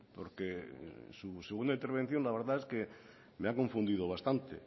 porque su segunda intervención la verdad es que me ha confundido bastante